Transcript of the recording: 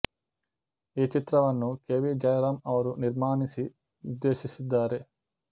ಈ ಚಿತ್ರವನ್ನು K V Jayaram ಅವರು ನಿರ್ಮಾಣಿಸಿ ನಿರ್ದೇಶಿಸಿದ್ದಾರೆ